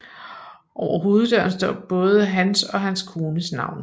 Over hoveddøren står både hans og hans kones navne